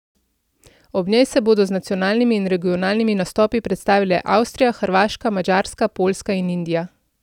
Ob njej se bodo z nacionalnimi in regionalnimi nastopi predstavile Avstrija, Hrvaška, Madžarska, Poljska in Indija.